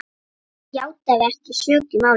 játaði ekki sök í málinu.